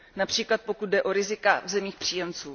Například pokud jde o rizika v zemích příjemců.